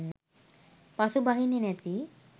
පසුබහින්නෙ නැති